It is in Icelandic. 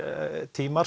tímar